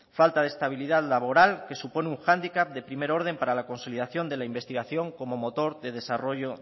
falta de estabilidad laboral que supone un hándicap de primer orden para la consolidación de la investigación como motor de desarrollo